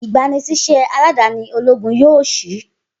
igbanisiṣẹ aladani ologun yoo ṣii